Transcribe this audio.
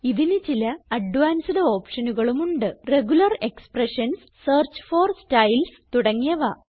ഇതിന് ചില അഡ്വാൻസ്ഡ് ഓപ്ഷനുകളുമുണ്ട് regular expressions search for styles തുടങ്ങിയവ